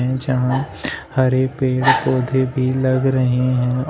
जहां हरे पेड़ पौधे भी लग रहे है और--